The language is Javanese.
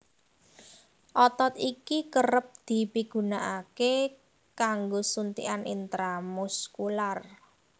Otot iki kerep dipigunakaké kanggo suntikan intra muskular